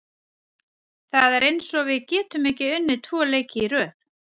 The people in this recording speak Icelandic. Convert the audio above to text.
Það er eins og við getum ekki unnið tvo leiki í röð.